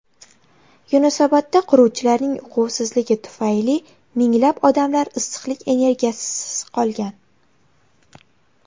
Yunusobodda quruvchilarning uquvsizligi tufayli minglab odamlar issiqlik energiyasisiz qolgan.